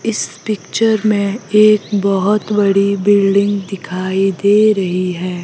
इस पिक्चर में एक बहोत बड़ी बिल्डिंग दिखाई दे रही है।